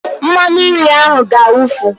Mmanụnri ahụ ga-awufu